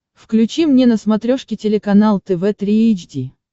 включи мне на смотрешке телеканал тв три эйч ди